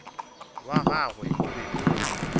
wa gagwe o be o